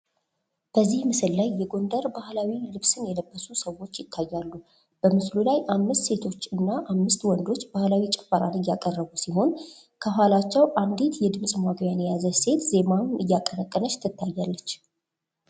በዚህ ምስል ላይ የጎንደር ባህላዊ ልብስን የለበሱ ሰዎች ይታያሉ። በምስሉ ላይ አምስት ሴቶች አና አምስት ወንዶች ባህላዊ ጭፈራን እያቀረቡ ሲሆን ከኋላቸው አንድት የድምጽ ማጉያ የያዘች ሴት ዜማውን እያቀነቀነች ትታያለች።